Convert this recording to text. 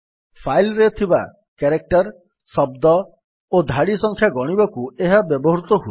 file ରେ ଥିବା character ଶବ୍ଦ ଓ ଧାଡି ସଂଖ୍ୟା ଗଣିବାକୁ ଏହା ବ୍ୟବହୃତ ହୁଏ